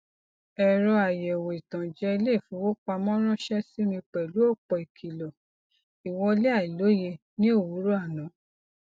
ẹrọ àyẹwò ìtànjẹ iléifowopamọ ránṣẹ sí mi pẹlú ọpọ ìkìlọ ìwọlé àìlóye ní òwúrọ àná